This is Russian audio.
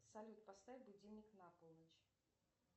салют поставь будильник на полночь